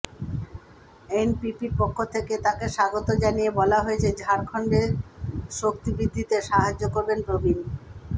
এনপিপির পক্ষ থেকে তাঁকে স্বাগত জানিয়ে বলা হয়েছে ঝাড়খণ্ডে শক্তিবৃদ্ধিতে সাহায্য করবেন প্রবীন